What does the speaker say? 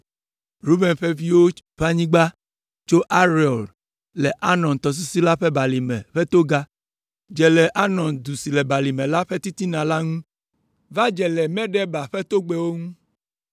Ruben ƒe viwo ƒe anyigba tso Aroer le Arnon tɔsisi la ƒe balime ƒe toga, dze le Arnon du si le balime la ƒe titina la ŋu va dze le Medeba ƒe togbɛwo ŋu.